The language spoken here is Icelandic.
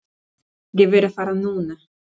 Ég verð að fara núna!